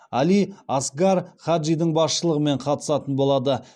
али асгар хаджидің басшылығымен қатысатын болады